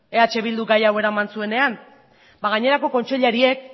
eh bilduk gai hau eraman zuenean ba gainerako kontseilariek